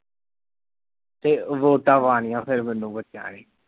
ਤੇ ਵੋਟਾਂ ਪਾਉਣੀਆਂ ਫਿਰ ਮੈਨੂੰ ਬੱਚਿਆਂ ਨੇ